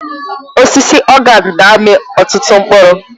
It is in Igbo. Osisi organe na-amị ọtụtụ mkpụrụ.